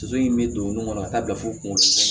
Soso in bɛ don nun kɔnɔ ka taa bila fo kungosan